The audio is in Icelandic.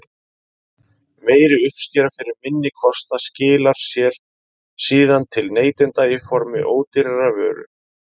Meiri uppskera fyrir minni kostnað skilar sér síðan til neytenda í formi ódýrari vöru.